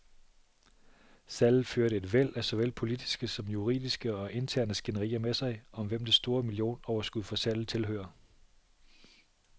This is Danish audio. Salget førte et væld af såvel politiske som juridiske og interne skænderier med sig, om hvem det store millionoverskud fra salget tilhører.